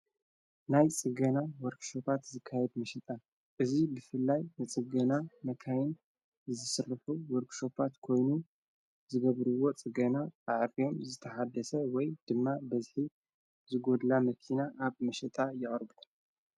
ናይ ጽገና ወርክሾባት ዝካየድ ምሽጣ እዙይ ብፍልላይ ንጽገና መካይን ዝስርፉ ወርክሸጳት ኮይኑ ዝገብርዎ ጽገና ኣዕብዮም ዝተሓደሰ ወይ ድማ በዘ ዝጐድላ መኪና ኣብ ምሸጣ ያወርብሩ።